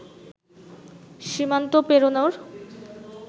সীমান্ত পেরোনোর